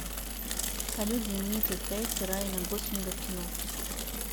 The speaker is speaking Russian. салют знаменитые проекты райана гослинга в кино